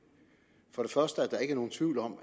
for det første at der ikke er nogen tvivl om